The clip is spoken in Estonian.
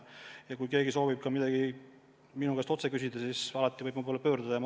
Ja kui keegi soovib ka midagi minu käest otse küsida, siis alati võib minu poole pöörduda.